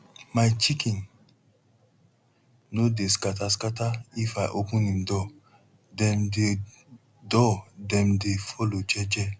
my chicken no dey scatter scatter if i open em door dem dey door dem dey follow jeje